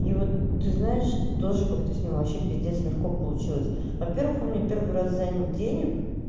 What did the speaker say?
и вот ты знаешь тоже как-то с ним вообще пиздец легко получилось во-первых он мне первый раз занял денег